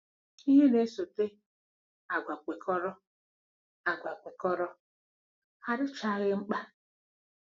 Ihe na-esote, àgwà kwekọrọ, àgwà kwekọrọ, adịchaghị mkpa.